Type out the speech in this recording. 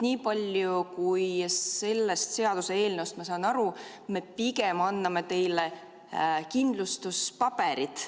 Nii palju, kui ma sellest seaduseelnõust aru saan, me pigem anname teile kindlustuspaberid.